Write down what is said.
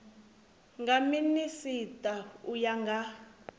nga minisita u ya nga